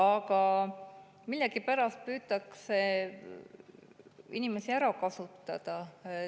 Aga millegipärast püütakse inimesi ära kasutada.